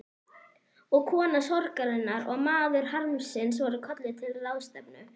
Og kona sorgarinnar og maður harmsins voru kölluð til ráðstefnu.